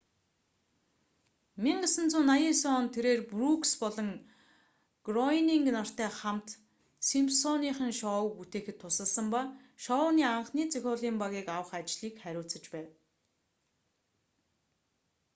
1989 онд тэрээр брүүкс болон гроенинг нартай хамт симпсоныхон шоуг бүтээхэд тусалсан ба шоуны анхны зохиолын багийг авах ажлыг хариуцаж байв